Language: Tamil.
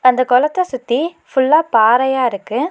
அந்த கொளத்த சுத்தி ஃபுல்லா பாறையா இருக்கு.